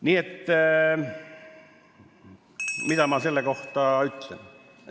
" Nii et mida ma selle kohta ütlen?